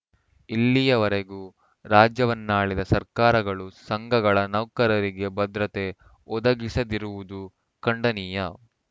ಇಲ್ಲಿಯವರೆಗೂ ರಾಜ್ಯವನ್ನಾಳಿದ ಸರ್ಕಾರಗಳು ಸಂಘಗಳ ನೌಕರರಿಗೆ ಭದ್ರತೆ ಒದಗಿಸದಿರುವುದು ಖಂಡನೀಯ